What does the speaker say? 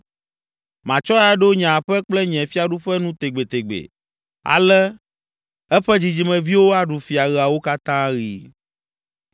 Matsɔe aɖo nye aƒe kple nye fiaɖuƒe nu tegbetegbe ale eƒe dzidzimeviwo aɖu fia ɣeawo katã ɣi.’ ”